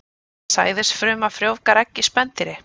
Sæðisfruma frjóvgar egg í spendýri.